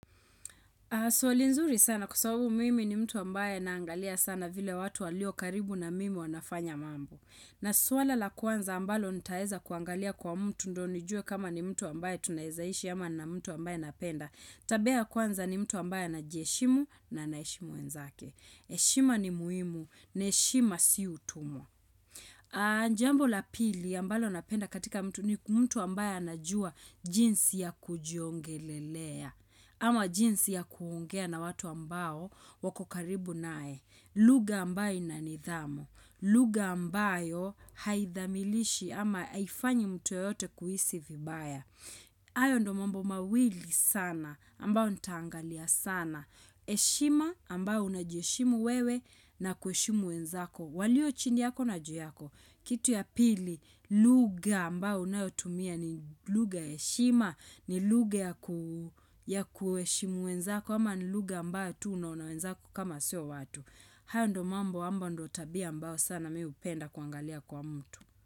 Swali nzuri sana kwasababu mimi ni mtu ambaye naangalia sana vile watu walio karibu na mimi wanafanya mambo. Na swala la kwanza ambalo nitaeza kuangalia kwa mtu ndo nijue kama ni mtu ambaye tunayizaishi ama na mtu ambaye napenda. Tabia kwanza ni mtu ambaye na heshimu na heshimu wenzake. Heshima ni muhimu, na heshima si utumwa. Jambo la pili ambalo napenda katika mtu ni mtu ambaye anajua jinsi ya kujiongelelea. Ama jinsi ya kuongea na watu ambao wako karibu nae. Luga ambayo inanidhamu. Lugha ambayo haithamilishi ama haifanyi mtu yote kuhisi vibaya. Hayo ndo mambo mawili sana ambao nitaangalia sana eshima ambao unajieshimu wewe na kueshimu wenzako walio chindi yako na juyako kitu ya pili luga ambao unayotumia ni luga eshima ni luga ya kueshimu wenzako ama ni luga ambao tuno unawenzako kama seo watu hayo ndo mambo ambao ndo tabia ambao sana miupenda kuangalia kwa mtu.